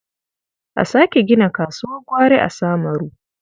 A sake gina kasuwar gwari a Samaru.